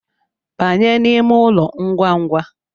Banye n’ime ụlọ ngwangwa